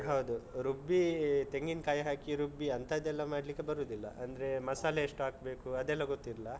ಹೌದು ರುಬ್ಬಿ ತೆಂಗಿನ್ಕಾಯಿ ಹಾಕಿ ರುಬ್ಬಿ ಅಂತದೆಲ್ಲ ಮಾಡ್ಲಿಕ್ಕೆ ಬರುದಿಲ್ಲ. ಅಂದ್ರೆ ಮಸಾಲೆ ಎಷ್ಟು ಹಾಕ್ಬೇಕು ಅದೆಲ್ಲ ಗೊತ್ತಿಲ್ಲ.